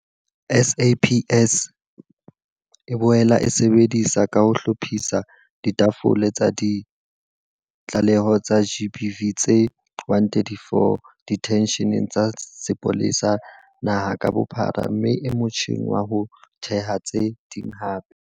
SAPS e boela e sebetsa ka ho hlophisa ditafole tsa ditlaleho tsa GBV tse 134 diteisheneng tsa sepolesa naha ka bophara mme e motjheng wa ho theha tse ding hape.